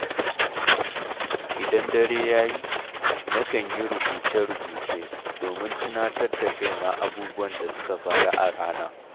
Idan dare ya yi, na kan yi rubuce-rubuce, domin tunatar da kaina abubuwan da suka faru a rana.